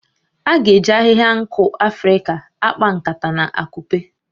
A ga-eji ahihia nku Afrịka a akpa nkata na akupe